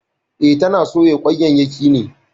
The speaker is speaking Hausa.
E, tana soya kwanyayyaki ne.